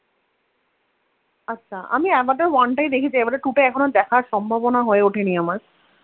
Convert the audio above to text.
আচ্ছা আমি Avatar one টাই দেখেছি আভাটার two টা এখনো দেখার সম্ভাবনা হয়ে ওঠেনি আমার